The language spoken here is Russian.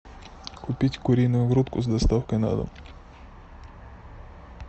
купить куриную грудку с доставкой на дом